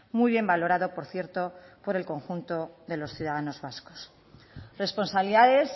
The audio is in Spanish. muy bien valorado por cierto por el conjunto de los ciudadanos vascos responsabilidades